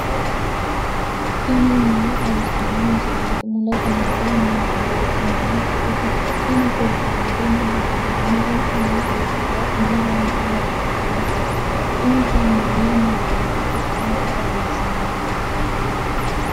tini maa xawissanno misileeti ? mulese noori maati ? hiissinannite ise ? tini kultannori mattiya? Meentu maa udirre? umoho maa wodhe nooreetti? insa mayiinire ikkansa xawissanno?